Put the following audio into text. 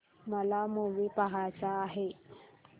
मला मूवी पहायचा आहे